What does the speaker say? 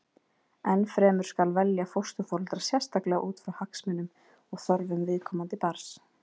enn fremur skal velja fósturforeldra sérstaklega út frá hagsmunum og þörfum viðkomandi barns